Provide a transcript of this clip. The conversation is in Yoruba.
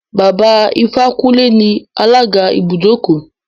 Baba Ifákúnlé ni alága ibùdókọ̀.